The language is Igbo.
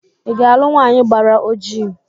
ị ga-alụ nwanyị gbara ọjii?